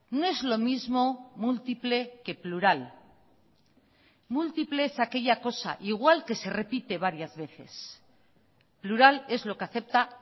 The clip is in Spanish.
no es lo mismo múltiple que plural múltiple es aquella cosa igual que se repite varias veces plural es lo que acepta